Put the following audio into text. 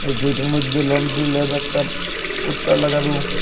এই গেটের মধ্যে লন্ড্রি ল্যাব একটা পোস্টার লাগানো।